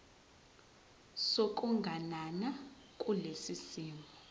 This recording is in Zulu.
sokuganana kulesi simo